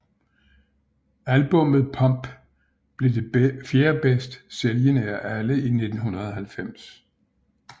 Albummet Pump blev det fjerde bedst sælgende af alle i 1990